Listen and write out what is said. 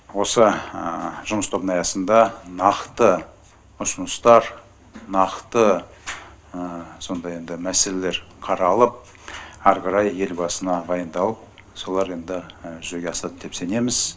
осы жұмыс тобының аясында нақты ұсыныстар нақты сондай енді мәселелер қаралып ары қарай елбасына баяндалып солар енді жүзеге асады деп сенеміз